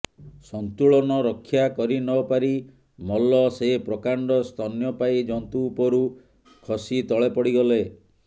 ସନ୍ତୁଳନ ରକ୍ଷା କରି ନ ପାରି ମଲ୍ଲ ସେ ପ୍ରକାଣ୍ଡ ସ୍ତନ୍ୟପାୟୀ ଜନ୍ତୁ ଉପରୁ ଖସି ତଳେ ପଡ଼ିଗଲେ